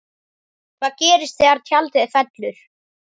Hvað gerist þegar tjaldið fellur?